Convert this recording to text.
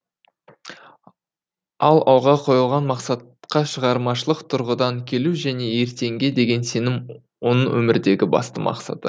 ал алға қойылған мақсатқа шығармашылық тұрғыдан келу және ертеңге деген сенім оның өмірдегі басты мақсаты